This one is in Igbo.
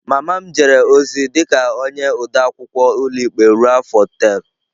Mama m jere ozi dị ka onye ode akwụkwọ ụlọikpe ruo afọ tel.